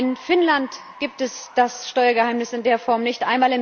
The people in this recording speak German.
In Finnland gibt es das Steuergeheimnis in der Form nicht.